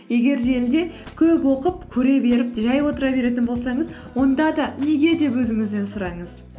егер желіде көп оқып көре беріп жай отыра беретін болсаңыз онда да неге деп өзіңізден сұраңыз